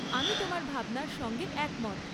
আমি তোমার ভাবনার সঙ্গে একমত।